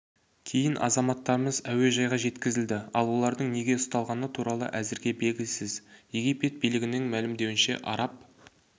кейін азаматтарымыз әуежайға жеткізілді ал олардың неге ұсталғаны туралы әзірге белгісіз египет билігінің мәлімдеуінше араб